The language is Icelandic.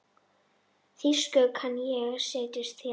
Þýsku kann ég, setjist þér.